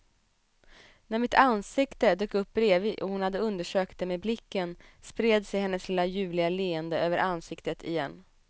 När mitt ansikte dök upp bredvid och hon hade undersökt det med blicken, spred sig hennes lilla ljuvliga leende över ansiktet igen.